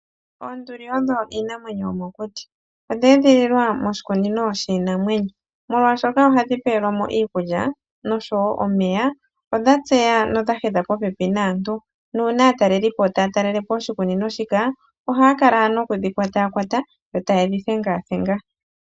Oonduli odho iinamwenyo yomokuti. Odha edhililwa moshikunino shiinamwenyo. Molwashoka ohadhi pewelwa mo iikulya, nosho wo omeya, odha tseya, nodha hedha popepi naantu, nuuna aatalelipo taa talele po oshikunino shika, ohaya kala noku dhi kwataakwata, yo taye dhi thengathenga.